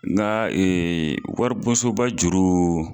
Nka waribonsoba juru